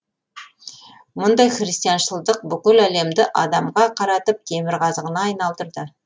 мұндай христианшылдық бүкіл әлемді адамға қаратып темірқазығына айналдырды